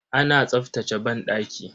Ana tsaftace banɗaki.